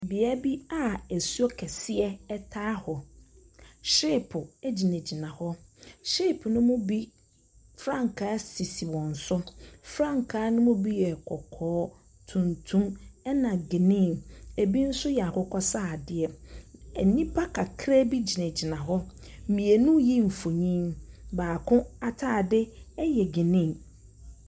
Bea bi a asuo kɛseɛ taa hɔ, hyeepo gyinagyina hɔ, hyeepo ne mu bi frankaa sisi wɔn so. Frankaa ne mu bi yɛ kɔkɔɔ, tuntum na geneen, bi nso yɛ akokɔsradeɛ. Nnipa kakraabi gyinagyina hɔ, mmienu reyi mfonin, baako ataade yɛ geneen.